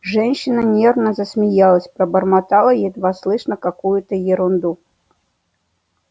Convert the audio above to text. женщина нервно засмеялась пробормотала едва слышно какую-то ерунду